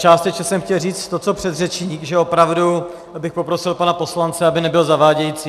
Částečně jsem chtěl říct to co předřečník, že opravdu bych poprosil pana poslance, aby nebyl zavádějící.